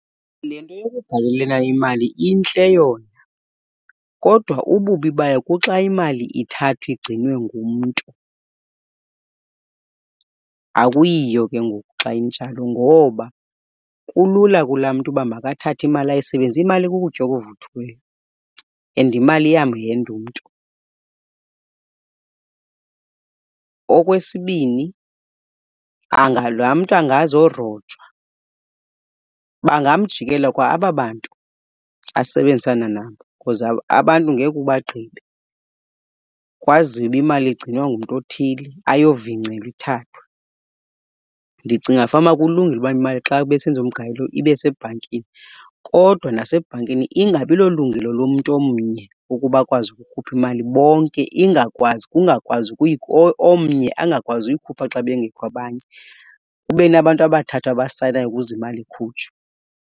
Le nto yokugalelelana imali intle yona, kodwa ububi bayo kuxa imali ithathwa igcinwe ngumntu. Akuyiyo ke ngoku xa injalo ngoba kulula kulaa mntu uba makathathe imali ayisebenzise, imali ikukutya okuvuthiweyo and imali iyamhenda umntu. Okwesibini, laa mntu angazarojwa. Bangamjikela kwa aba bantu asebenzisana nabo because abantu ngekhe ubagqibe. Kwaziwe uba imali igcinwa ngumntu othile ayovingcelwa ithathwe. Ndicinga fanuba kulungile uba imali xa besenza umgalelo ibe sebhankini, kodwa nasebhankini ingabi lolungelo lomntu omnye ukuba akwazi ukukhupha imali. Bonke, ingakwazi, kungakwazi , omnye angakwazi uyikhupha xa bengekho abanye. Kube nabantu abathathu abasayinayo ukuze imali ikhutshwe.